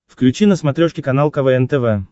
включи на смотрешке канал квн тв